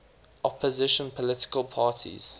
opposition political parties